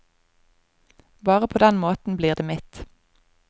Bare på den måten blir det mitt.